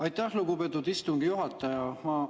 Aitäh, lugupeetud istungi juhataja!